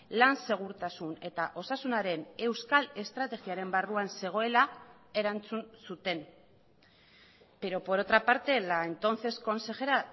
lan segurtasun eta osasunaren euskal estrategiaren barruan zegoela erantzun zuten pero por otra parte la entonces consejera